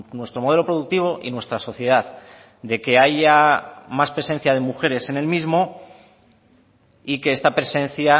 nuestro modelo productivo y nuestra sociedad de que haya más presencia de mujeres en el mismo y que esta presencia